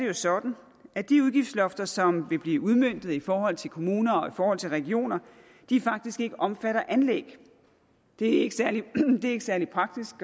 det sådan at de udgiftslofter som vil blive udmøntet i forhold til kommuner og i forhold til regioner faktisk ikke omfatter anlæg det er ikke særlig praktisk